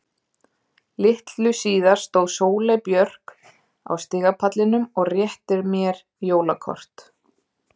Litlu síðar stóð Sóley Björk á stigapallinum og rétti mér jóla kort.